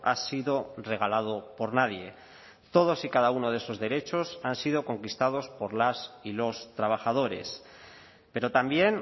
ha sido regalado por nadie todos y cada uno de esos derechos han sido conquistados por las y los trabajadores pero también